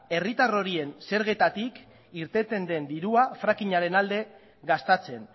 herritar horien zergetatik irteten den dirua fracking aren alde gastatzen